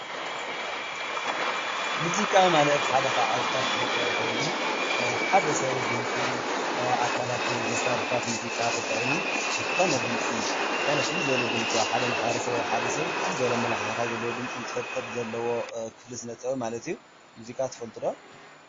ሙዚቃ ማለት ሓደ ካብ ዓውደታት ስነ ጥበብ ኮይኑ ሓደ ስብ ድምፂ አካላቱ መሳርሒ ሙዚቃታት ተጠቂሙ ዝኮነ ፍሉይ ድምፂ አብ ሓደ ማሕበረሰብ ወይ አብ ሓደ ስብ ፋሉይ አመለካክታ ዘለዎ ድምፂ እንትፈጥር ዘለዎ ክፍሊ ስነ ጥበብ ማለት እዩ። ሙዚቃ ትፈልጡ ዶ?